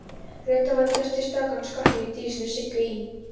Reyndar voru flestir strákanna skotnir í dísinni Siggu í